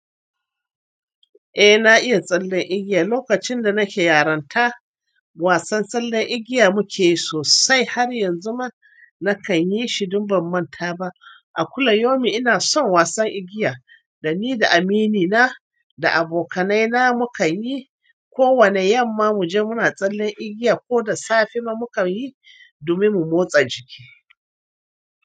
Eh, na iya tsallen igiya. Lokacin da nake yarinta, wasan tsallen igiya muke yi sosai, har yanzu ma na kan yi shi, don ban manta ba. A kulla yaumin ina son wasan igiya. Da ni, da aminina, da abokaina mu kan yi. Ko wane yamma mu je muna tsallen igiya, ko da safe ma mu kan yi domin mu motsa jiki.